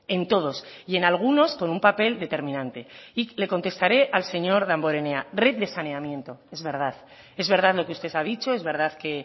en todos y en algunos con un papel determinante y le contestaré al señor damborenea red de saneamiento es verdad es verdad lo que usted ha dicho es verdad que